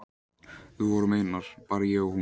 Við vorum einar, bara ég og hún.